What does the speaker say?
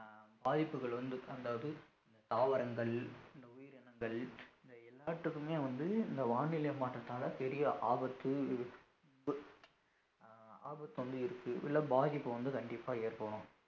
பாதிப்புகள் வந்து தாங்காது தாவரங்கள் இந்த உயிரினங்கள் இந்த எல்லாத்துக்குமே வந்து இந்த வானிலை மாற்றத்தால பெரிய ஆபத்து அஹ் ஆபத்து வந்து இருக்கு இல்ல பாதிப்பு வந்து கண்டிப்பா ஏற்படும்